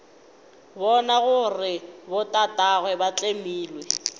bona gore botatagwe ba tlemile